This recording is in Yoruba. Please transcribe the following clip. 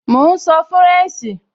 Mò ún sọ fúrẹ̀nṣì